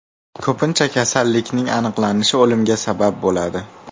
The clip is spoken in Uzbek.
Ko‘pincha kasallikning aniqlanishi o‘limga sabab bo‘ladi.